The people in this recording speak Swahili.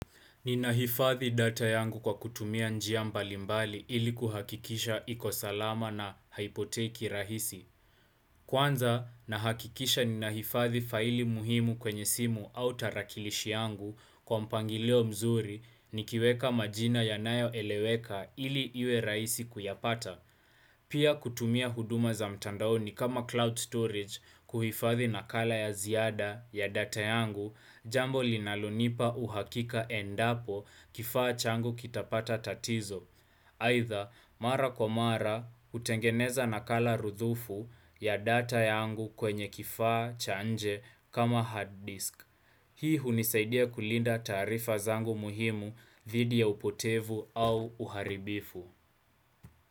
Ninahifadhi data yangu kwa kutumia njia mbalimbali ili kuhakikisha iko salama na haipotei kirahisi. Kwanza, nahakikisha ninahifadhi faili muhimu kwenye simu au tarakilishi yangu kwa mpangilio mzuri nikiweka majina yanayoeleweka ili iwe rahisi kuyapata. Pia kutumia huduma za mtandaoni kama cloud storage kuhifadhi nakala ya ziada ya data yangu, jambo linalonipa uhakika endapo kifaa changu kitapata tatizo. Aidha, mara kwa mara, hutengeneza nakala rudhufu ya data yangu kwenye kifaa cha nje kama hard disk. Hii hunisaidia kulinda taarifa zangu muhimu, dhidi ya upotevu au uharibifu.